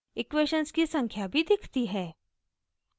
equations की संख्या भी दिखती है